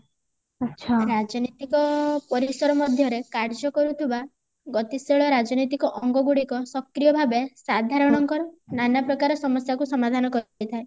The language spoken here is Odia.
ରାଜନୈତିକ ପରିସର ମଧ୍ୟରେ କାର୍ଯ୍ୟ କରୁଥିବା ଗତିଶୀଳ ରାଜନୈତିକ ଅଙ୍ଗ ଗୁଡିକ ସକ୍ରିୟ ଭାବେ ସାଧାରଣ ଙ୍କର ନାନା ପ୍ରକାରର ସମସ୍ଯା କୁ ସମାଧାନ କରିଥାଏ